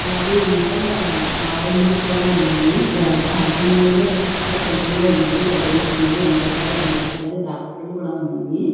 అలాగే ఇంకా ఆరంజస్ కూడా ఉన్నాయి దానిమ్మల్లోనే రకరకాల సైజుల్లో ఉన్నాయి పెద్దవి చిన్నవి అన్ని రకాల ల్లో కనబడుతున్నాయి అలాగే ద్రాక్ష పండ్లు కూడా ఉన్నాయి.